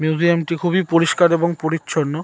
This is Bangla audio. মিউজিয়াম টি খুবই পরিষ্কার এবং পরিচ্ছন্ন।